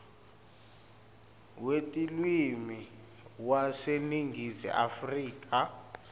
wetilwimi waseningizimu afrika